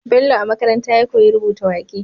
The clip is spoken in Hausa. Bello a makaranta ya koyi rubuta waƙe